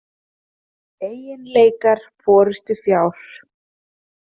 Eiginleikar forystufjár.